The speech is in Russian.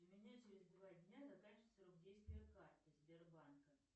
у меня через два дня заканчивается срок действия карты сбербанка